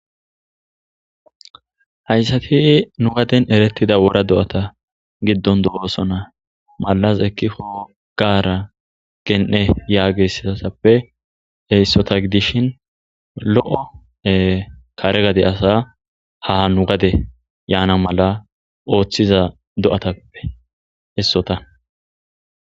Hayssappe nu gaden erettida wora do'ata giddon do'osona. Mallazi ekkiko gaara yaages asaappe, issota giddishin, lo'o kare gade asa ha nu gade yaana mala oottiza do'otappe issota.